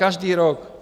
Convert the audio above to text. Každý rok.